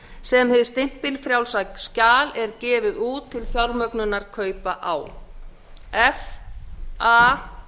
sem hið stimpilfrjálsa skjal er gefið út til fjármögnunar kaupa á f a